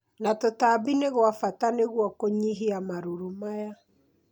na tũtambi nĩ gwa bata nĩguo kũnyihia marũrũ maya